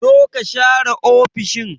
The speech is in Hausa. Zo ka share ofishin!